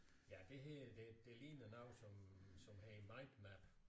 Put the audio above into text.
Ja det her det det ligner noget som som hedder mindmap